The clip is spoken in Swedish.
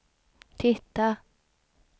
titta